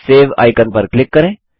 save icon पर click करें